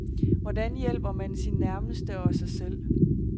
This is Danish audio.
Hvordan hjælper man sine nærmeste og sig selv.